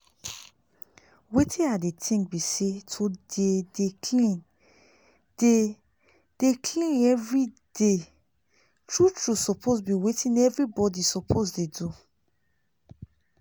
wetin i dey think bi say to dey dey clean dey dey clean everyday true true suppose bi wetin everybody suppose dey do